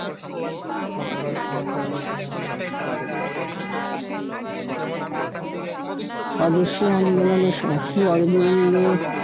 স্বদেশী আন্দোলনের সময় শ্রী অরবিন্দ